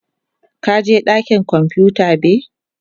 ka je dakin kwamfuta be?